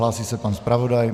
Hlásí se pan zpravodaj.